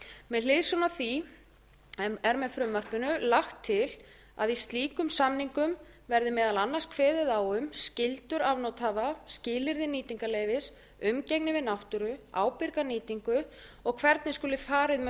með hliðsjón af því er með frumvarpinu lagt til að í slíkum samningum verði meðal annars kveðið á um skyldur afnotahafa skilyrði nýtingarleyfis umgengni við náttúru ábyrga nýtingu og hvernig skuli farið með